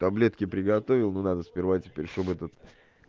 таблетки приготовил ну надо сперва теперь чтобы этот